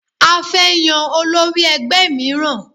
A fẹ́ yan olórí ẹgbẹ́ míràn